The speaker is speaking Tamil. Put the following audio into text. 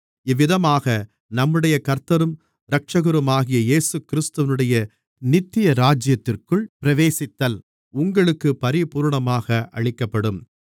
இவ்விதமாக நம்முடைய கர்த்தரும் இரட்சகருமாகிய இயேசுகிறிஸ்துவினுடைய நித்திய ராஜ்யத்திற்குள் பிரவேசித்தல் உங்களுக்குப் பரிபூரணமாக அளிக்கப்படும்